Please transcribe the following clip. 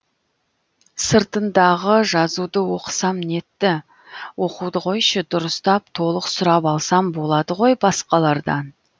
сыртындағы жазуды оқысам нетті оқуды қойшы дұрыстап толық сұрап алсам боладығой басқалардан